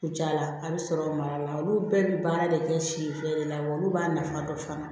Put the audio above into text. U jala a bɛ sɔrɔ ka mara la olu bɛɛ bɛ baara de kɛ si feere de la wa olu b'a nafa dɔn fana